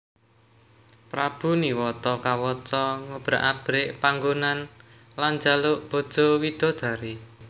Prabu Niwata Kawaca ngobrak abrik panggonan lan njaluk bojo widodari